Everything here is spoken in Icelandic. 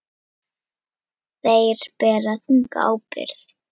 Þeir bera þunga ábyrgð.